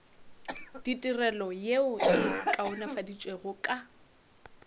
ditirelo yeo e kaonafaditšwego ka